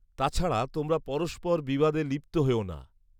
তাছাড়া তোমরা পরস্পর বিবাদে লিপ্ত হয়ো না